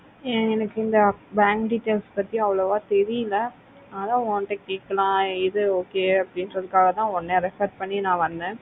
ஏஹ் எனக்கு bank details பத்திலா அவோலோவோ தெரியல அதன் உன்கிட்ட கேட்கலாம்னு எது okay அப்புடிகிறதுக்காகத்தா உன்ன refer பண்ணி நா வந்த